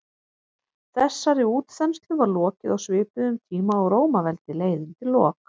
þessari útþenslu var lokið á svipuðum tíma og rómaveldi leið undir lok